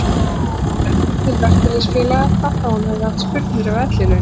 Hún þekkti ekkert til verkalýðsfélaga hvað þá að hún hefði haft spurnir af ellilaunum.